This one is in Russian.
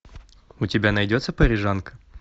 у тебя найдется парижанка